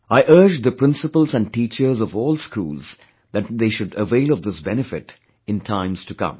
I urge the Principals & teachers of all schools that they should avail of this benefit in times to come